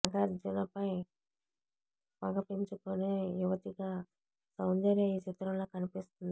నాగార్జునపై పగ పెంచుకునే యువతిగా సౌందర్య ఈ చిత్రంలో కనిపిస్తుంది